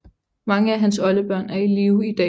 Mange af hans oldebørn er i live i dag